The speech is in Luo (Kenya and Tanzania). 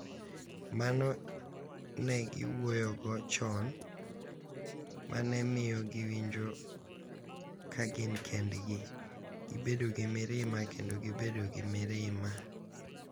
Mano ne giwuoyogo chon, ma ne miyo giwinjo ka gin kendgi, gibedo gi mirima, kendo gibedo gi mirima.